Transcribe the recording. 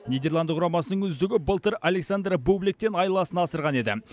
нидерланд құрамасының үздігі былтыр александр бубликтен айласын асырған еді